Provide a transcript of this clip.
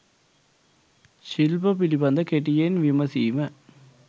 ශිල්ප පිළිබඳ කෙටියෙන් විමසීම